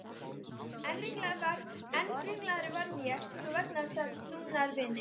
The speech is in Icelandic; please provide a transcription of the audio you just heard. Enn ringlaðri varð ég svo vegna þess að trúnaðarvini